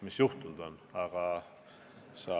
Mis juhtunud on?